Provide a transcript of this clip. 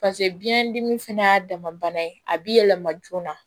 pase biyɛn dimi fɛnɛ y'a dama bana ye a bi yɛlɛma joona